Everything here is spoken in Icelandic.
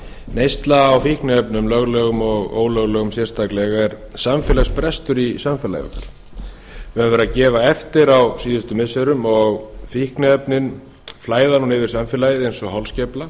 neysla á fíkniefnum löglegum og ólöglegum sérstaklega er samfélagsbrestur í samfélaginu og hefur verið að gefa eftir á síðustu missirum og fíkniefnin flæða nú yfir samfélagið eins og holskefla